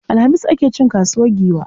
Alhamis ake cin kasuwar Giwa.